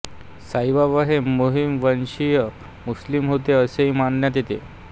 साईबाबा हे मोमीन वंशीय मुस्लिम होते असेही मानण्यात येते